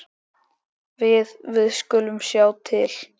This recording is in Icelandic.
Við. við skulum sjá til.